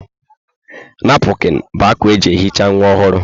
Napụkịn bụ akwa eji ehicha nwa ọhụrụ.